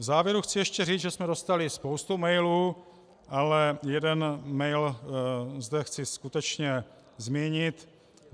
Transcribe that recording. V závěru chci ještě říct, že jsme dostali spoustu mailů, ale jeden mail zde chci skutečně zmínit.